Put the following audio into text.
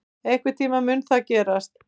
Einhvern tíma mun það gerast.